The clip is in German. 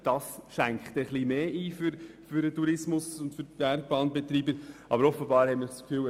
Diese schränkt den Tourismus und die Bergbahnbetreiber etwas stärker ein.